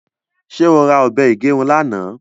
ṣe ọ rà òbé igerun lànà?